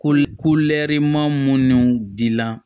Ko lɛ maa minnu dilan